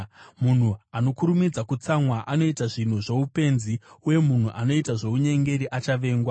Munhu anokurumidza kutsamwa anoita zvinhu zvoupenzi, uye munhu anoita zvounyengeri achavengwa.